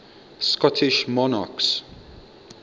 scottish monarchs